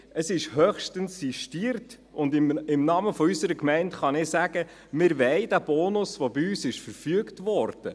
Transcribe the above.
Es ist höchstens sistiert, und im Namen unserer Gemeinde kann ich sagen: Wir wollen diesen Bonus, der bei uns verfügt wurde.